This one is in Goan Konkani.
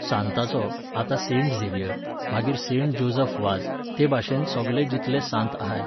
सांताचो, आतां सेंट झेवियर, मागीर सेंट जोजफ वाझ, ते भाशेन सोगले जितले सांत आहाय